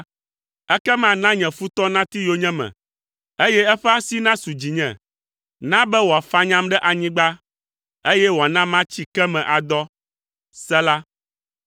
ekema na nye futɔ nati yonyeme, eye eƒe asi nasu dzinye; na be wòafanyam ɖe anyigba, eye wòana matsi ke me adɔ. Sela